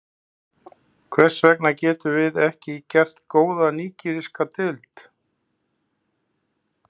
Hvers vegna getum við ekki gert góða nígeríska deild?